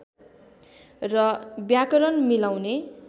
र व्याकरण मिलाउने